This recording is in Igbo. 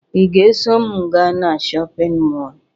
Ị ga-eso m gaa na shọpịn mọọ?